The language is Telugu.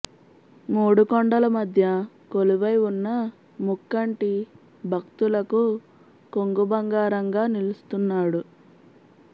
మూడు కొండల మధ్య కొలువై ఉన్న ముక్కంటి భక్తులకు కొంగుబంగారంగా నిలుస్తున్నాడు